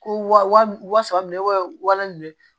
Ko wa saba minɛ walan ninnu